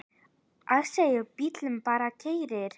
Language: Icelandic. Ásgeir: Og bíllinn bara keyrir?